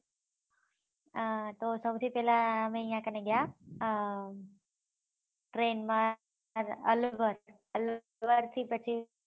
હા તો સૌથી થી પેહલા અમે આયીયા કને ગયા અમ train માં હરિદ્વાર હરિદ્વાર થી પછી